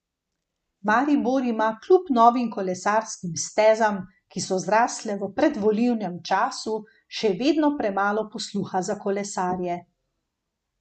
Maribor ima kljub novim kolesarskim stezam, ki so zrasle v predvolilnem času, še vedno premalo posluha za kolesarje.